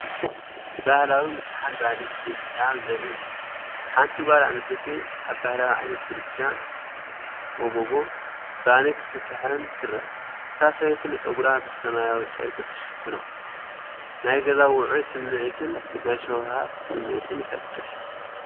ባህላዊ ምጥሓን ባኒ ኢትዮጵያ ዘርኢ እዩ። ሓንቲ ጓል ኣንስተይቲ ኣብ ባህላዊ ዓይነት ምድጃ (ሞሞጎ) ባኒ ክትጥሕን ትርአ። እታ ሰበይቲ ንጸጉራ ብሰማያዊ ጨርቂ ትሽፍኖ። ናይ ገዛ ውዑይ ስምዒትን ናይ ሸውሃት ስምዒትን ይፈጥር።